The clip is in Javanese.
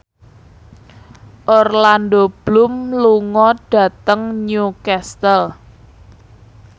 Orlando Bloom lunga dhateng Newcastle